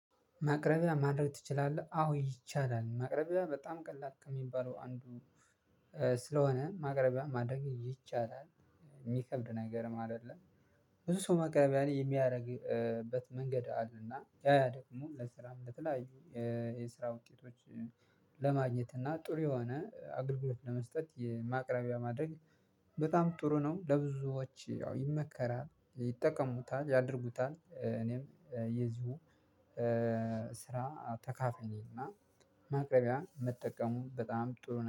ማቅረቢያ ማድረግ ትችላለህ? አዎ ይቻላል ማቅረቢያ በጣም ቀላቅ የሚባለው አንዱ ስለሆነ ማቅረቢያ ማድረግ ይቻላል የሚከብድ ነገር አይደለም። ብዙ ሰው ማቅረቢያ የሚያደርግበት መንገድ አለና ያ ደግሞ ለስራ እንደተለያዩ የስራ ውጤቶች። ለማግኘት እና ጥሩ የሆነ አገልግሎት ለመስጠት የማቅረቢያ ማድረግ በጣም ጥሩ ነው። ለብዙዎች ያው ይመከራል ይጠቀሙታል ያድርጉታል እኔም የዚሁ ስራ ተካፋይ ነኝ። እና ማቅረቢያ መጠቀሙ በጣም ጥሩ